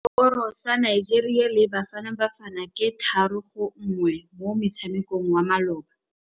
Sekôrô sa Nigeria le Bafanabafana ke 3-1 mo motshamekong wa malôba.